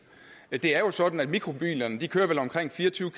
det er jo sådan at mikrobilerne vel kører omkring fire og tyve